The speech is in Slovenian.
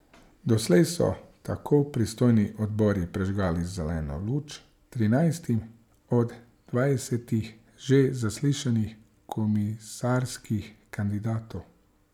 Doslej so tako pristojni odbori prižgali zeleno luč trinajstim od dvajsetih že zaslišanih komisarskih kandidatov.